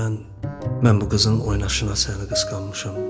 Mən, mən bu qızın oynaşına səni qısqanmışam.